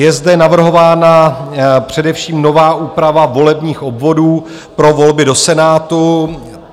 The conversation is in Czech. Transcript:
Je zde navrhována především nová úprava volebních obvodů pro volby do Senátu.